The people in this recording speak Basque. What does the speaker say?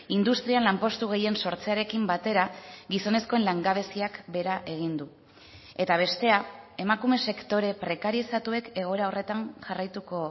industrian lanpostu gehien sortzearekin batera gizonezkoen langabeziak behera egin du eta bestea emakume sektore prekarizatuek egoera horretan jarraituko